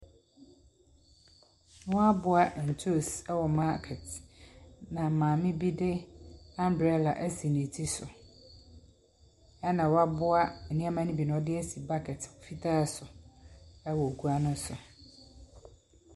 Wɔaboa ntoos wɔ market na maame bi de abrella asi ne ti so. Ɛna wɔaboa nneɛma no bi na ɔde asi bucket fitaa so wɔ gua no so.